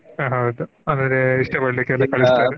ಆಹ್ ಹೌದು ಅಂದ್ರೆ ಇಷ್ಟ ಪಡ್ಲಿಕ್ಕೆ ಎಲ್ಲಾ ಕಳಸ್ತಾರೆ .